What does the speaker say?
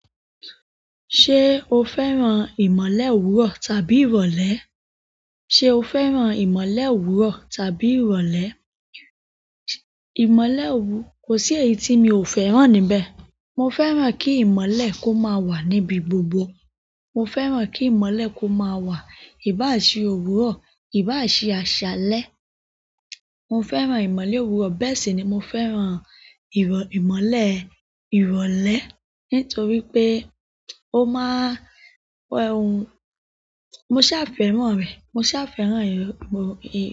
Ṣé o fẹ́ran ìmọ̀lé òwúrọ̀ tàbí ìrọ̀lẹ́? Ṣé o fẹ́ran ìmọ̀lé òwúrọ̀ tàbí ìrọ̀lẹ́? Ìmọ̀lé òwú-- kò sí èyí tí mi ò fẹ́ran níbẹ̀. Mo fẹ́ran kí ìmọ̀lé kó máa wà níbi gbogbo. Mo fẹ́ran kí ìmọ̀lé kó máa wà, ìbá ṣe òwúrọ̀, ìbá ṣe àṣálẹ́. Mo fẹ́ran ìmọ̀lé òwúrọ̀ bẹ́ẹ̀ sì ni mo fẹ́ran ìrọ̀-ìmọ̀lé ìrọ̀lẹ́ nítorí pé ó máa ń ẹ́ hun. Mo sa á fẹ́ran rẹ̀, mo sa á fẹ́ran èrò, ìrò.